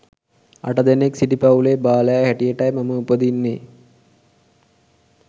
අට දෙනෙක් සිටි පවුලේ බාලයා හැටියටයි මම උපදින්නේ